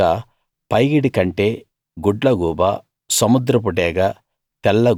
ఇంకా పైగిడి కంటె గుడ్లగూబ సముద్రపు డేగ